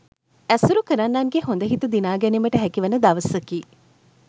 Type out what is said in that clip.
ඇසුරු කරන්නන්ගේ හොඳ හිත දිනා ගැනීමට හැකිවන දවසකි